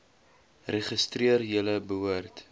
registreer julle behoort